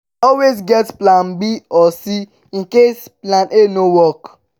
always get plan b or c in case plan a no work